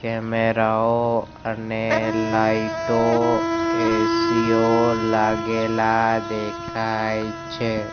કેમેરાઓ અને લાઈટો એ_સી ઓ લાગેલા દેખાય છે.